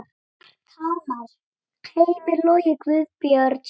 Mark Hamars: Heimir Logi Guðbjörnsson